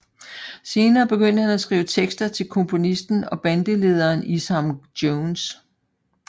Senere begyndte han at skrive tekster til komponisten og bandlederen Isham Jones